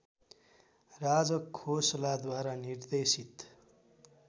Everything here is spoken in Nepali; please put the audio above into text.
राजखोसलाद्वारा निर्देशित